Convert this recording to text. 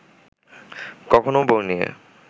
কখনও বউ নিয়ে